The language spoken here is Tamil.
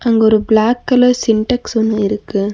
அங்க ஒரு பிளாக் கலர் சின்டெக்ஸ் ஒன்னு இருக்கு.